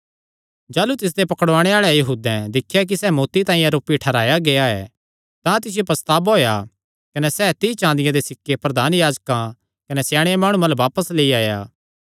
जाह़लू तिसदे पकड़ुआणे आल़े यहूदैं दिख्या कि सैह़ मौत्ती तांई आरोपी ठैहराया गेआ ऐ तां तिसियो पछतावा होएया कने सैह़ तीई चाँदिया दे सिक्के प्रधान याजकां कने स्याणे माणुआं अल्ल बापस लेई आया